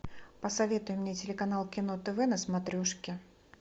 посоветуй мне телеканал кино тв на смотрешке